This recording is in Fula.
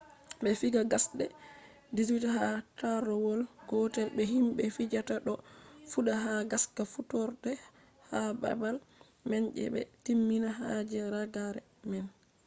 be fija gasde 18 ha tarrawol gotel be himbe fijata do fudda ha gaska fuddorde ha babal man se be timmina ha je ragare man